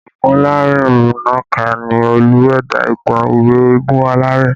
Ogunlarinnaka ni Olú ẹ̀dá ìtàn ìwé Eégún Aláré